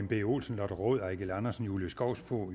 b olsen lotte rod eigil andersen julie skovsby